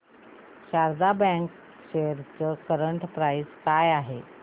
Sharda bank shares ची current price काय आहे